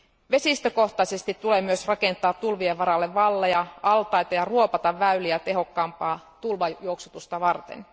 Vesistökohtaisesti tulee myös rakentaa tulvien varalle valleja ja altaita ja ruopata väyliä tehokkaampaa tulvajuoksutusta varten.